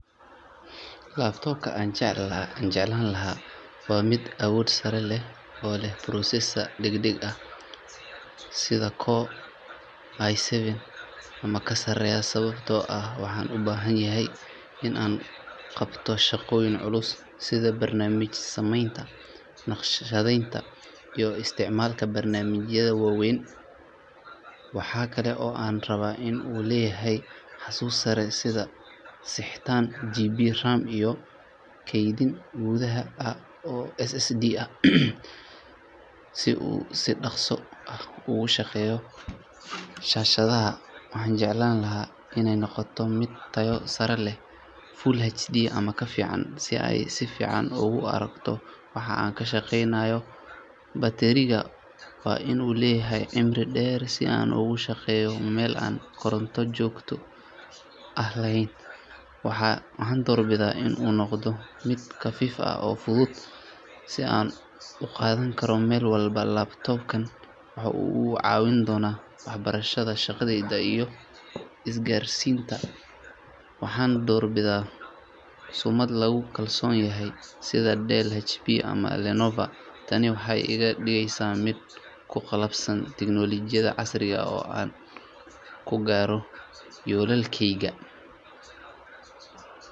Laptop-ka aan jeclaan lahaa waa mid awood sare leh oo leh processor degdeg ah sida Core i seven ama ka sareeya, sababtoo ah waxaan u baahanahay in aan qabto shaqooyin culus sida barnaamij sameynta, naqshadeynta iyo isticmaalka barnaamijyada waaweyn. Waxa kale oo aan rabaa in uu leeyahay xasuus sare sida sixteen GB RAM iyo kaydin gudaha ah oo SSD ah si uu si dhaqso ah ugu shaqeeyo. Shaashadda waxaan jeclahay in ay noqoto mid tayo sare leh, Full HD ama ka fiican, si aan si fiican ugu arko waxa aan ka shaqeynayo. Bateriga waa in uu leeyahay cimri dheer si aan ugu shaqeeyo meel aan koronto joogto ah lahayn. Waxaan doorbidayaa in uu noqdo mid khafiif ah oo fudud si aan u qaadan karo meel walba. Laptop-kan waxa uu iga caawin doonaa waxbarashada, shaqada, iyo isgaarsiinta waxaana doorbidayaa sumad lagu kalsoon yahay sida Dell, HP ama Lenovo. Tani waxay iga dhigeysaa mid ku qalabeysan tiknoolajiyad casri ah oo aan ku gaaro yoolalkayga.